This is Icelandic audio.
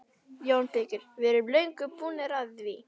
JÓN BEYKIR: Við erum löngu búnir að því!